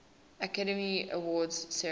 academy awards ceremony